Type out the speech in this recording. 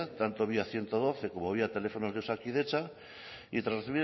tanto vía ciento doce como vía teléfonos de osakidetza y tras